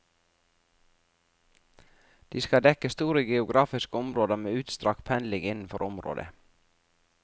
De skal dekke store geografiske områder med utstrakt pendling innenfor området.